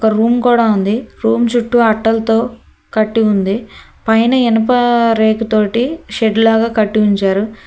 Room కూడా ఉంది room చుట్టూ అట్టలతో కట్టి ఉంది పైన ఇనుప రేకు తోటి షెడ్లాగా కట్టి ఉంచారు.